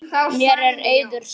Mér er eiður sær.